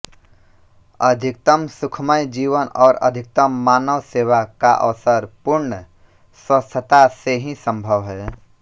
अधिकतम सुखमय जीवन और अधिकतम मानवसेवा का अवसर पूर्ण स्वस्थता से ही संभव हैं